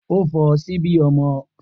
O fo sibi omo